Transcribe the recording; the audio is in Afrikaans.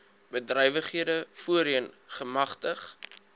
bedrywighede voorheen gemagtig